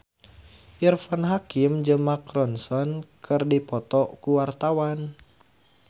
Irfan Hakim jeung Mark Ronson keur dipoto ku wartawan